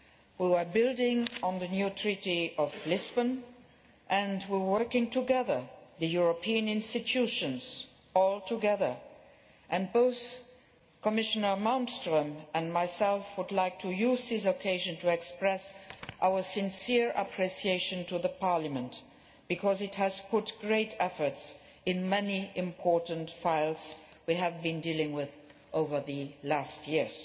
We were building on the new Treaty of Lisbon and were working together the European institutions all together and both Commissioner Malmström and I would like to use this occasion to express our sincere appreciation to Parliament because it has put great efforts into many important files we have been dealing with over the last years.